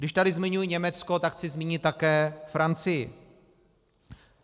Když tady zmiňuji Německo, tak chci zmínit také Francii.